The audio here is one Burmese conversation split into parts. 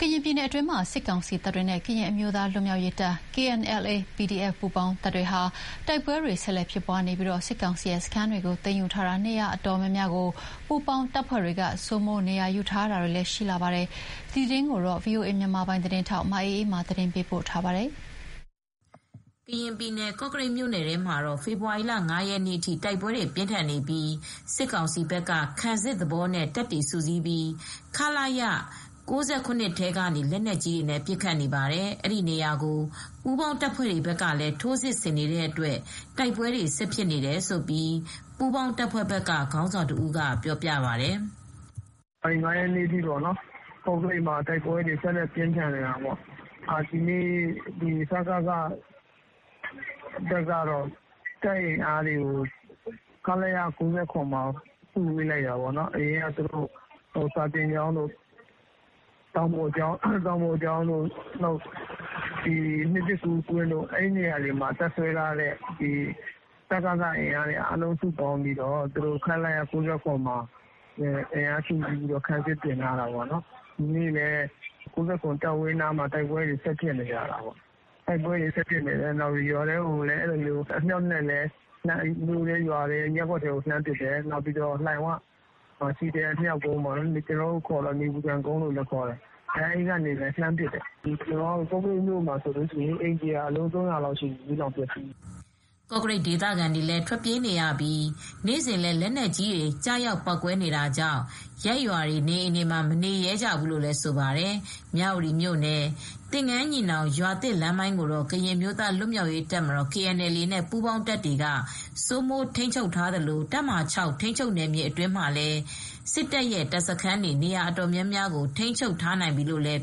ကရင်ပြည်နယ်မှာ စစ်ကောင်စီတပ်တွေနဲ့ ကရင်အမျိုးသားလွတ်မြောက်ရေးတပ် KNLA /PDF ပူးပေါင်းတပ်တွေကြား တိုက်ပဲွ ဆက်ဖြစ်နေပြီး စစ်ကောင်စီရဲ့စခန်း နေရာအတော်များများကို ပူးပေါင်းတပ်ဖဲွ့တွေက စိုးမိုးနေရာယူထားပါတယ်။ ဒီအကြောင်း ဗွီအိုအေ သတင်းထောက် မအေးအေးမာက သတင်းပေးပို့ထားပါတယ်။ ကရင်ပြည်နယ် ကော့ကရိတ်မြို့မှာတော့ ဖေဖေါ်ဝါရီလ ၅ ရက်နေ့အထိ တိုက်ပဲွတွေ ပြင်းထန်နေပြီး စစ်ကောင်စီဘက်က ခံစစ်သဘောနဲ့ တပ်တွေ စုစည်းပြီး ခလရ ၉၇ ထဲကနေ လက်နက်ကြီးတွေနဲ့ ပစ်ခတ်နေပါတယ်။ အဲဒီနေရာကို ပူးပေါင်းတပ်ဖဲွတွေဘက်ကလည်း ထိုးစစ်ဆင်နေတဲ့အတွက် တိုက်ပွဲတွေ ဆက်ဖြစ်နေတယ်လို့ ပူးပေါင်းတပ်ဖဲွ့ဘက်က ခေါင်းဆောင်တဦးက ပြောပြပါတယ်။ " ဖေဖေါ်ဝါရီလ ၅ ရက်နေ့အထိ ကော့ကရိတ်မှာ တိုက်ပဲွတွေပြင်းထန်နေပါတယ်။ ဒီနေ့မှာတော့ စကစတပ်ကတော့ သူတို့ရဲ့ တပ်အင်အားတွေဖြစ်တဲ့ တောင်ပေါ်ကျောင်းတို့ နှစ်သစ်ကူးကွင်းတို့က သူတို့အင်အားတွေကို စုပေါင်းပြီ ခလရ ၉၇မှာ အကုန် ပြန်စုလိုက်တယ်၊ ခံစစ် ဆင်ထားပါတယ်။ သူတို့က ခလရ ၉၇ ကနေ လက်နက်ကြီးနဲ့ လှမ်းပစ်တယ် လက်နက်ကြီးတွေ အမြှောက်ကြီးနဲ့ လှမ်းပစ်တယ်၊ ရွာထဲ မြို့ထဲ ရပ်ကွက်ထဲကို လှမ်းပစ်တယ်။ လှိုင်၀လို့ခေါ်တဲ့ နေပူခံကုန်းလို့ခေါ်တဲ့ နေရာကနေလည်း လက်နက်ကြီးတွေနဲ့ လှမ်းပစ်နေတယ် ကော့ကရိတ်မှာတလအတွင်း အိမ်ခြေက အလုံး ၃၀၀ ကျော်လောက်ရှိပြီ ၊ မီးလောင်ပျက်စီးခဲ့တာပါ။ " ကော့ကရိတ်ဒေသခံတွေကတော့ ထွက်ပြေးနေကြပြီး နေ့စဉ်လည်း လက်နက်ကြီးတွေ ကျရောက် ပေါက်ကဲွနေတာကြောင့် ရပ်ရွာတွေေ ေနအိမ်တွေမှာ မနေရဲကြဘူးလို့လည်း ဆိုပါတယ်။ မြဝတီမြို့နယ်၊ သင်္ဃန်းညီနောင် ရွာသစ်လမ်းပိုင်းကိုတော့ ကရင်အမျိုးသားလွတ်မြောက်ရေးတပ်မတော်- KNLA နဲ့ ပူးပေါင်းတပ်များက စိုးမိုးထိန်းချုပ်ထားသလို တပ်မဟာ ၆ ထိန်းချုပ်နယ်မြေ အတွင်းမှာလည်း တပ်စခန်းတွေနဲ့ နေရာအတော်များများကို ထိန်းချုပ်ထားနိုင်တယ်လို့လည်း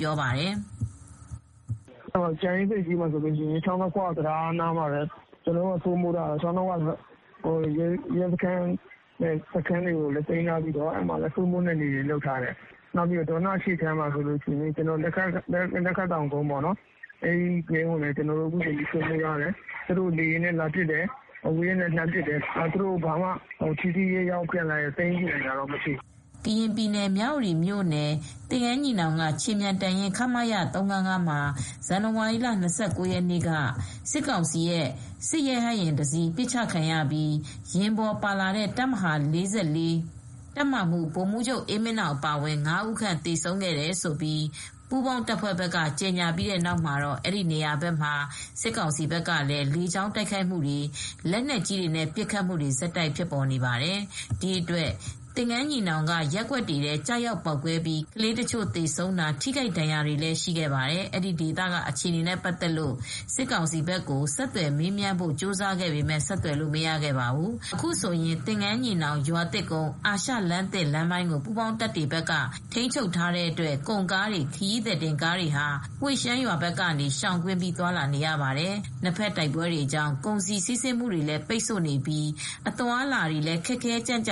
ပြောပါတယ်။ " ကြာအင်းဆိပ်ကြီး ချောင်းနှစ်ခွတံတားဘက်မှာလည်း ကျနော်တို့က စိုးမိုးထားတယ်။ ရဲစခန်းကို သိမ်းထားပြီး စိုးမိုးနယ်မြေ လုပ်ထားပါတယ်။ ဒေါနအရှေ့ခြမ်းမှာဆိုရင်လည်း လက်ခတ်တောင်ကုန်းကို ကျနော်တို့ သိမ်းထားတယ် သူတို့ အဝေးကနေ လက်နက်ကြီးနဲ့ပစ်တယ် လေယာဉ်တွေနဲ့ လာပစ်တယ်။ ဒါပေမဲ့ သူတို့ဘက်က ထိထိရောက်ရောက် ပြန်သိမ်းယူနိုင်တာမျိုးတော့ မရှိသေးပါဘူး။ " ကရင်ပြည်နယ်၊ မြဝတီမြို့အနီး သင်္ဃန်းညီနောင်က ခြေမြန်တပ်ရင်း- ခမရ မှာ ဇန်နဝါရီလ ၂၉ ရက်နေ့က စစ်ကောင်စီ စစ်ရဟတ်ယာဉ်တစီး ပစ်ချခံရပြီး ယာဉ်ပေါ်ပါလာတဲ့ တပ်မဟာ ၄၄ တပ်မမှူး ဗိုလ်မှူးချုပ် အေးမင်းနောင် အပါအဝင် ၅ ဦးခန့် သေဆုံးခဲ့တယ်လို့ ပူးပေါင်းတပ်ဖဲွ့က ကြေငြာပြီးတဲ့နောက်မှာတော့ အဲဒီနေရာဘက်ကို စစ်ကောင်စီဘက်က လေကြောင်းတိုက်ခိုက်မှုတွေ လက်နက်ကြီးနဲ့ ပစ်ခတ်မူတွေ ဆက်တိုက်လုပ်နေပါတယ်။ ဒီအတွက် သင်္ကန်းညီနောင်က ရပ်ကွက်တွေထဲ ကျရောက်ပေါက်ကဲွပြီး ကလေးတချို ့သေဆုံးတာ ထိခိုက်ဒဏ်ရာတွေလည်း ရှိခဲ့ပါတယ်။ အဲဒီဒေသက အခြေအနေနဲ့ပတ်သက်လို့ စစ်ကောင်စီဘက်ကို ဆက်သွယ်မေးမြန်းဖို့ကြိုးစားခဲ့ပေမယ့် ဆက်သွယ်လို့ မရခဲ့ပါဘူး။ အခုဆိုရင် သင်္ဃန်းညီနောင် ရွာသစ်ကုန်း အာရှလမ်းသစ် လမ်းပိုင်းကို ပူးပေါင်းတပ်တွေက ထိမ်းချုပ်ထားတဲ့အတွက် ကုန်ကားတွေ ခရီးသည်တင်ကားတွေဟာ ဝှေရှမ်းရွာဘက်ကနေ ရှောင်ကွင်းပြီး သွားလာနေရပါတယ်။ နှစ်ဖက် တိုက်ပဲွတွေကြောင့် ကုန်စည် စီးဆင်းမှုတွေလည်း ပိတ်ဆို့နေပြီး အသွားအလာတွေလည်း ခက်ခဲကြန့်ကြာ